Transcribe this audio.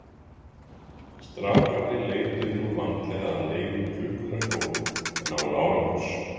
Strákarnir leituðu nú vandlega að leifum klukkunnar góðu en án árangurs.